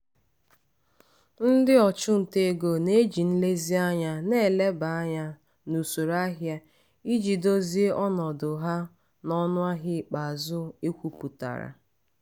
ndị ọchụnta ego na-eji nlezianya na-eleba anya n'usoro ahịa iji dozie ọnọdụ ha n'ọnụahịa ikpeazụ ekwpụtara.